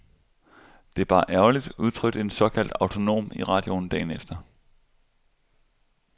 Det er bare ærgerligt, udtrykte en såkaldt autonom i radioen dagen efter.